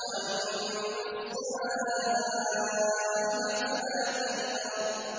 وَأَمَّا السَّائِلَ فَلَا تَنْهَرْ